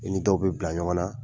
I ni dɔw bɛ bila ɲɔgɔn na.